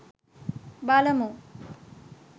බලමු!